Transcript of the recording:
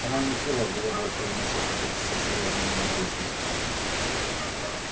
она не в силах была больше выносить это состояние неизвестности